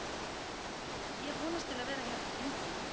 Ég vonast til að vera hérna lengi.